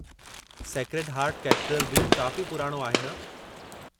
Sacred heart cathedral बि काफ़ी पुराणो आहे न?